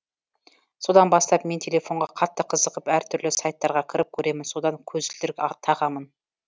содан бастап мен телефонға қатты қызығып әртүрлі сайттарға кіріп көремін содан көзілдірік тағамын